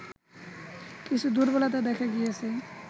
কিছু দুর্বলতা দেখা গিয়েছে